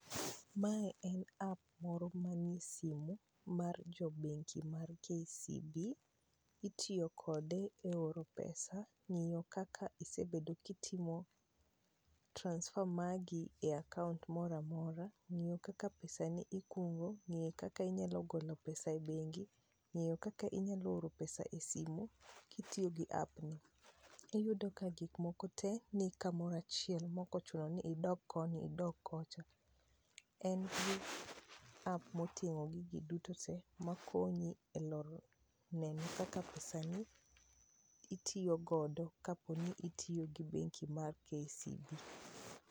Mae en app moro manie simu mar jo bengi mar KCB,itiyo kode e oro pesa ,ngiyo kaka isebedo kitimo transfer magi e akaunt moro amora, ngiyo kaka pesani ikungo ,ngiyo kaka inyalo golo pesa e bengi, ngiyo kaka inyalo oro pesa e simu kitiyo gi app ni. Iyudo ka gik moko tee ni kamoro achiel maok ochuno ni idogo koni idog kocha. En gi app motingo gigi duto tee makonyi neno kaka pesani itiyo godo kaponi itiyo gi bengi mar KCB